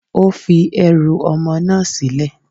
Ó fi ẹrù ọmọ náà sílẹ̀.